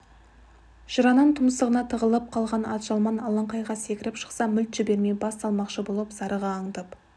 жыраның тұмсығына тығылып қалған атжалман алаңқайға секіріп шықса мүлт жібермей бас салмақшы болып зарыға аңдып